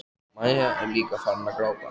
Maja er líka farin að gráta.